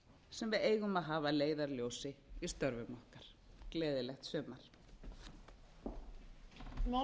sem við eigum að hafa að leiðarljósi í störfum okkar gleðilegt sumar